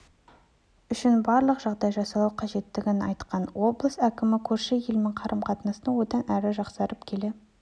үшін барлық жағдай жасалу қажеттігін айтқан облыс әкімі көрші елмен қарым-қатынастың одан әрі жақсарып келе